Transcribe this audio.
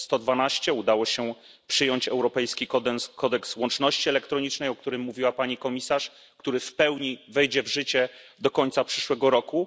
112. Udało się przyjąć Europejski kodeks łączności elektronicznej, o którym mówiła pani komisarz i który w pełni wejdzie w życie do końca przyszłego roku.